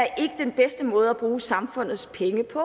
den bedste måde at bruge samfundets penge på